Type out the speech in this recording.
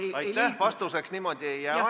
Kahjuks teine pool küsimusest jääb ajapuudusel vastamata.